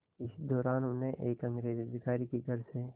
इसी दौरान उन्हें एक अंग्रेज़ अधिकारी के घर से